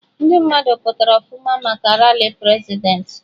Ndị mmadụ pụtara ọfụma maka rali Prezidentị